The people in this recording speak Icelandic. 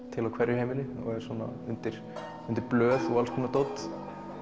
til á hverju heimili og er undir blöð og alls konar dót